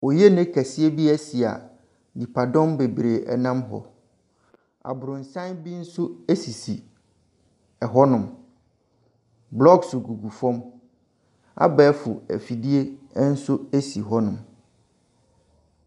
Oyene kɛseɛ bi asi a nipadɔm bebree nam hɔ. Aborosan bi nso sisi hɔnom. Blocks gugu fam. Abɛɛfo afidie nso si hɔnom.